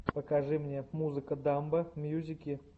покажи мне музыка дамбо мьюзики